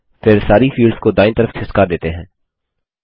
फिर सारी फील्ड्स को दायीं तरफ खिसका देते हैं